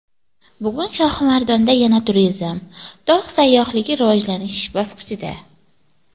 Bugun Shohimardonda yana turizm, tog‘ sayyohligi rivojlanish bosqichida.